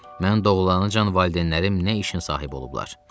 Mən doğulancan valideynlərim nə işin sahibi olublar?